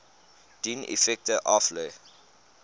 dien effekte aflê